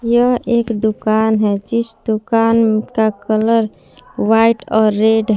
यह एक दुकान है जिस दुकान का कलर वाइट और रेड --